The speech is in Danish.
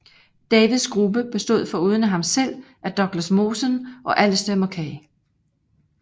Davids gruppe bestod foruden af ham selv af Douglas Mawson og Alistair Mackay